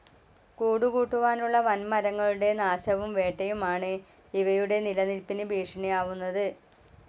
കൂടു കൂട്ടുവാനുളള വൻ മരങ്ങളുടെ നാശവും വേട്ടയും ആണ് ഇവയുടെ നിലനിൽപിന് ഭീഷണിയാവുന്നത്.